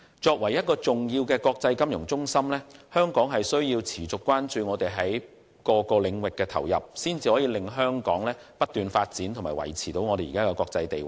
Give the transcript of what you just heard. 作為重要的國際金融中心，香港需要持續關注我們在各個領域的投入，才能令香港不斷發展和維持現時的國際地位。